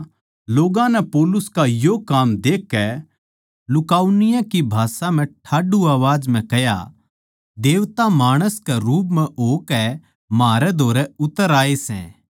लोग्गां नै पौलुस का यो काम देखकै लुकाउनिया की भाषा म्ह ठाड्डू आवाज म्ह कह्या देवता माणस कै रूप म्ह होकै म्हारै धोरै उतर आये सै